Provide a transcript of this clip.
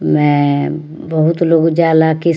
में अअ बहुत लोग जाला किस --